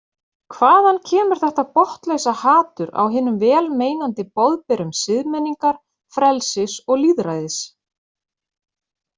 Hvaðan kemur þetta botnlausa hatur á hinum vel meinandi boðberum siðmenningar, frelsis og lýðræðis?